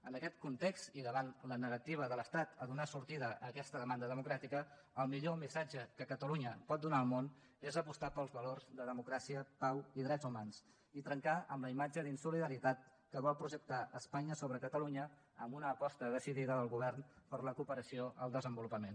en aquest context i davant la negativa de l’estat a donar sortida a aquesta demanda democràtica el millor missatge que catalunya pot donar al món és apostar pels valors de democràcia pau i drets humans i trencar amb la imatge d’insolidaritat que vol projectar espanya sobre catalunya amb una aposta decidida del govern per la cooperació al desenvolupament